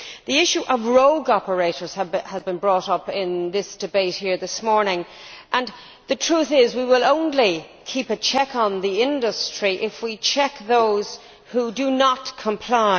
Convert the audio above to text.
The issue of rogue operators has been brought up in the debate here this morning. The truth is that we will only keep a check on the industry if we check those who do not comply.